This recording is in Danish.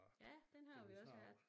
Ja den har vi også her